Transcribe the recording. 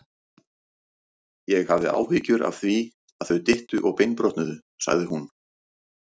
Ég hafði áhyggjur af því, að þau dyttu og beinbrotnuðu sagði hún.